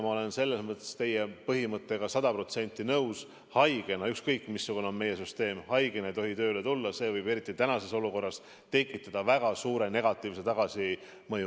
Ma olen selles mõttes teie põhimõttega sada protsenti nõus: haigena, ükskõik missugune on meie süsteem, ei tohi tööle tulla, see võib eriti tänases olukorras tekitada väga suure negatiivse tagasimõju.